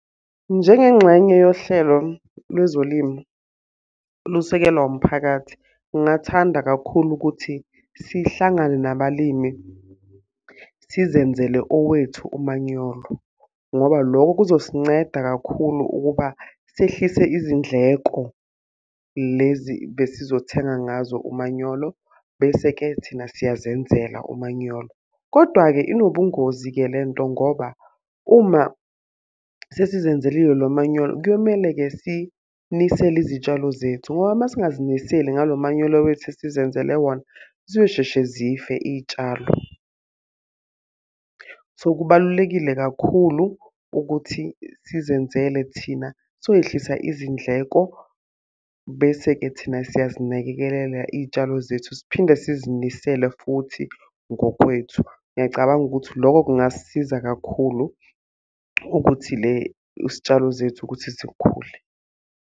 Njengengxenye yohlelo lwezolimo olusekelwa umphakathi, ngingathanda kakhulu ukuthi sihlangane nabalimi sizenzele owethu umanyolo. Ngoba lokho kuzosinceda kakhulu ukuba sehlise izindleko lezi besizothenga ngazo umanyolo. Bese-ke thina siyazenzela umanyolo. Kodwa-ke inobungozi-ke le nto ngoba, uma sesizenzelile lo manyolo kuyomele-ke sinisele izitshalo zethu. Ngoba uma singaziniseli ngalo manyolo wethu esizenzele wona, zizosheshe zife iy'tshalo. So kubalulekile kakhulu ukuthi sizenzele thina sokwehlisa izindleko, bese-ke thina siyazinakekelela iy'tshalo zethu siphinde sizinisele futhi ngokwethu. Ngiyacabanga ukuthi lokho kungasiza kakhulu ukuthi le isitshalo zethu ukuthi zikhule.